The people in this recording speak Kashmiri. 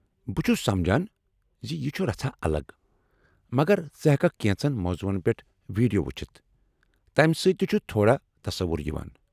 بہٕ چُھس سمجان زِ یہ چُھ رژھا الگ ، مگر ژٕ ہٮ۪ککھ کٮ۪نٛژن موضوعن پٮ۪ٹھ ویٖڈیو وُچھِتھ ، تمہ سۭتۍ تہِ چُھ تھوڑا تصوُر یوان۔